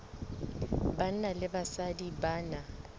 banna le basadi ba na